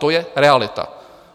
To je realita.